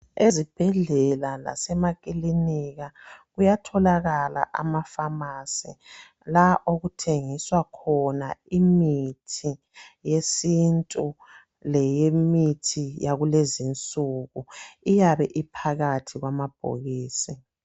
Ezibhedlela lasemakilinika kuyatholakala amafamasi la okuthengiswa khona imithi yesintu lemithi yakulezinsuku iyabe iphakathi kwamabhokisi